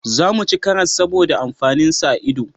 Za mu ci karas saboda amfanin sa a ido